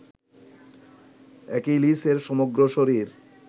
অ্যাকিলিসের সমগ্র শরীর